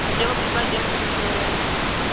хотела бы узнать где машинка моя